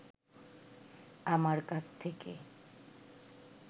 আমার কাছ থেকে